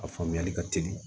A faamuyali ka teli